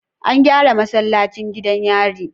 An gyara masallacin gidan yari